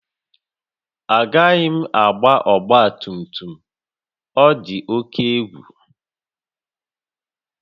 Agaghị m agba ọgba tum tum, ọ dị oke egwu